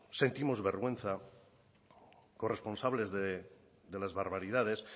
sentimos vergüenza corresponsables de las barbaridades